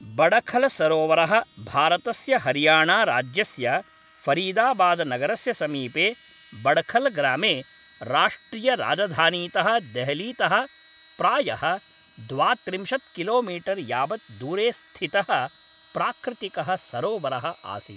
बडखलसरोवरः भारतस्य हरियाणाराज्यस्य फरीदाबादनगरस्य समीपे बडखलग्रामे राष्ट्रियराजधानीतः देहलीतः प्रायः द्वात्रिंशत् किलोमीटर् यावत् दूरे स्थितः प्राकृतिकः सरोवरः आसीत्।